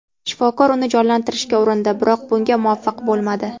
Shifokor uni jonlantirishga urindi, biroq bunga muvaffaq bo‘lmadi.